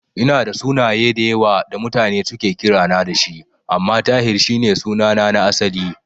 Ina da sunaye da yawa da mutane suke kirana da shi, amma Tahir shi ne sunana na asali.